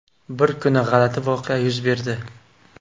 Bir kuni g‘alati voqea yuz berdi.